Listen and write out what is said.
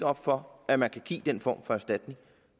op for at man kan give den form for erstatning